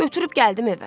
Götürüb gəldim evə.